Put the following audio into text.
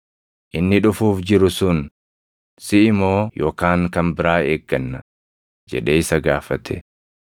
“Inni dhufuuf jiru sun siʼi moo yookaan kan biraa eegganna?” jedhee isa gaafate.